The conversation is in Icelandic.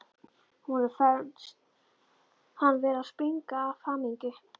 Honum fannst hann vera að springa af hamingju.